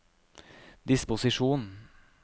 disposisjon